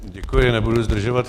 Děkuji, nebudu zdržovat.